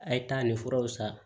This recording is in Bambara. A' ye taa ni furaw san